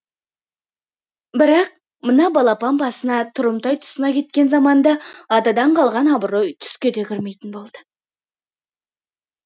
бірақ мына балапан басына тұрымтай тұсына кеткен заманда атадан қалған абырой түске де кірмейтін болды